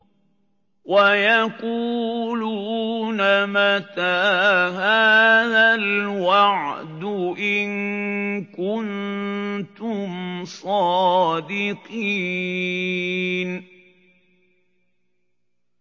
وَيَقُولُونَ مَتَىٰ هَٰذَا الْوَعْدُ إِن كُنتُمْ صَادِقِينَ